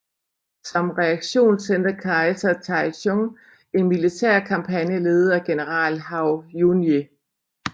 Som reaktion sendte kejser Taizong en militærkampagne ledet af general Hou Junji